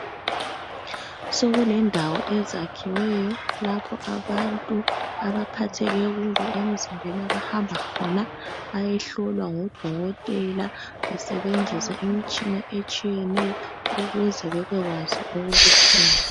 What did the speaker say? Sokulendawo ezakhiweyo lapho abantu abaphatheke kubi emzimbeni abahamba khona bayehlolwa ngodokotela besebenzisa imitshina etshiyeneyo ukuze babekwazi okubuhlungu.